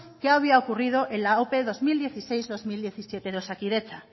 qué había ocurrido en la ope bi mila hamasei bi mila hamazazpi de osakidetza